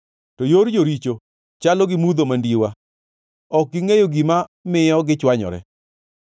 To yor joricho chalo gi mudho mandiwa; ok gingʼeyo gima miyo gichwanyore.